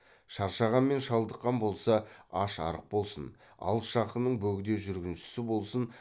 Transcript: шаршаған мен шалдыққан болса аш арық болсын алыс жақынның бөгде жүргіншісі болсын